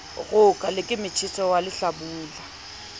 roka le ke motjheso walehlabula